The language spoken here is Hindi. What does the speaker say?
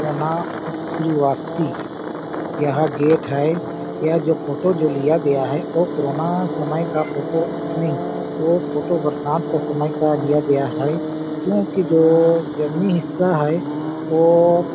कोना श्रीवास्ती यह गेट है यह जो फोटो जो लिया गया है वो कोरोना समय का फोटो नहीं ये फोटो बरसात के समय का लिआ गया है क्योंकि जो जंगली हिस्सा है वो